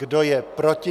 Kdo je proti?